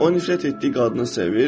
O nifrət etdiyi qadını sevir.